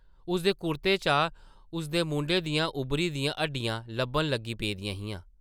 उसदे कुर्ते चा उसदे मूंडें दियां उब्भरी दियां हड्डियां लब्भन लगी पेदियां हियां ।